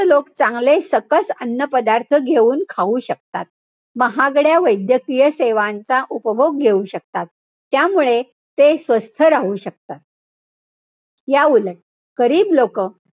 लोक चांगले सकस अन्न पदार्थ घेऊन खाऊ शकतात. महागड्या वैद्यकीय सेवांचा उपभोग घेऊ शकतात. त्यामुळे, ते स्वस्थ राहू शकतात. याउलट गरीब लोकं,